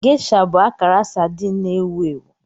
Geisha bụ akara sardine na-ewu ewu.